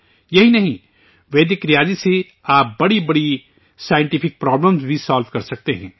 یہی نہیں، ویدک میتھ سے آپ بڑے بڑے سائنسی پرابلم بھی سالو کر سکتے ہیں